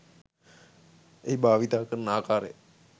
එහිභාවිතා කරන ආකාරය